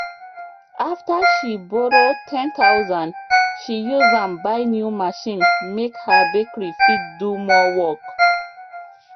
after she borrow 10000 she use am buy new machine make her bakery fit do more work